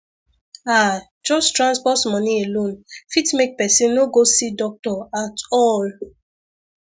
ah just transport money alone fit make person no go see doctor at all